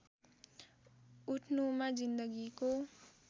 उठ्नुमा जिन्दगीको